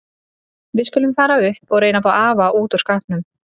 Við skulum fara upp og reyna að ná afa út úr skápnum.